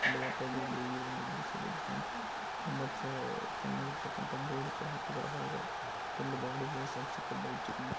ದೃಶ್ಯ ಫ್ರೆಂಡ್ಸ್ ತುಂಬಾ ಚಾ-ಚೆನ್ನಾಗಿರ್ತಕಂತ ಬೋರ್ಡ್ ಕೂಡ ಹಾಕಿದ್ದಾರೆ ಹೊರಗ.